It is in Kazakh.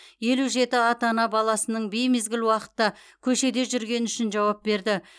елу жеті ата ана баласының беймезгіл уақытта көшеде жүргені үшін жауап берді